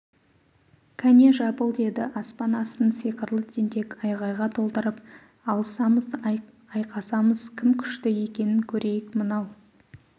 кәне жабыл деді аспан астын сиқырлы тентек айғайға толтырып алысамыз айқасамыз кім күшті екенін көрейік мынау